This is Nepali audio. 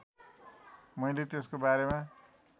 मैले त्यसको बारेमा